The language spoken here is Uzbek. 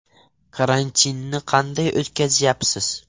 Karantinni qanday o‘tkazyapsiz?